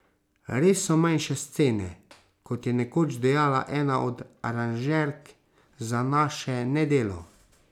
Res so manjše scene, kot je nekoč dejala ena od aranžerk za naše Nedelo.